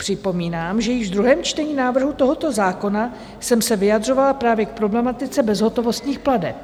Připomínám, že již v druhém čtení návrhu tohoto zákona jsem se vyjadřovala právě k problematice bezhotovostních plateb.